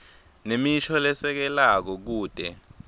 nemisho lesekelako kute